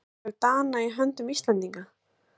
Örlög Dana í höndum Íslendinga?